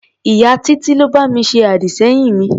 Ìyá Títí ló bá mi ṣe àdì-sẹ́yìn mi.